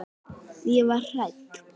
Ég var hrædd.